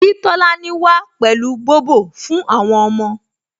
Kí Tolani wá pẹ̀lú Bobo fún àwọn ọmọ